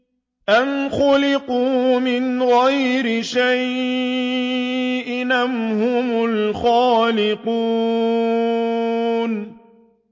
أَمْ خُلِقُوا مِنْ غَيْرِ شَيْءٍ أَمْ هُمُ الْخَالِقُونَ